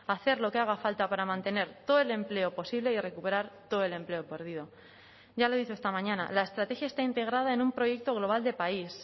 hacer lo que haga falta para mantener todo el empleo posible y recuperar todo el empleo perdido ya le he dicho esta mañana la estrategia está integrada en un proyecto global de país